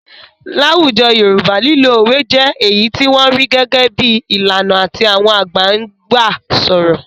Láwùjọ Yorùbá lílo òwe jẹ́ èyí tí wọ́n rí gẹ́gẹ́ bí i ìlànà tí àwọn àgbà ń gbà sọ̀rọ̀.